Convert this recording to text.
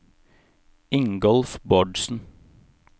Ingolf Bårdsen